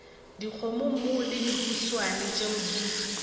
dikgomommuu le dihuswane tšeo di